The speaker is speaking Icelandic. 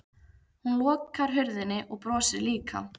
Hún lokar hurðinni og brosir líka.